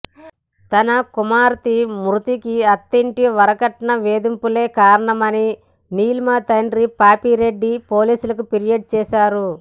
తన కుమార్తె మృతికి అత్తింటి వరకట్న వేధింపులే కారణమని నీలిమ తండ్రి పాపిరెడ్డి పోలీసులకు ఫిర్యాదు చేశారు